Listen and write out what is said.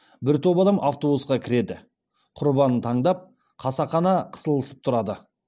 бір топ адам автобусқа кіреді құрбанын таңдап қасақана қысылысып тұрады